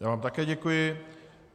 Já vám také děkuji.